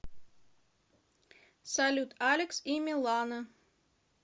салют алекс и милана